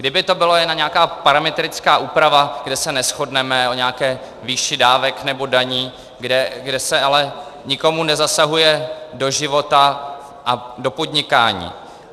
Kdyby to byla jen nějaká parametrická úprava, kde se neshodneme o nějaké výši dávek nebo daní, kde se ale nikomu nezasahuje do života a do podnikání.